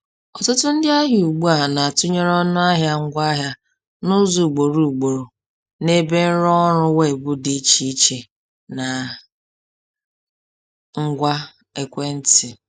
Ọtụtụ ndị ahịa ugbu a na-atụnyere ọnụahịa ngwaahịa n’ụzọ ugboro ugboro n’ebe nrụọrụ weebụ dị iche iche na ngwa ekwentị.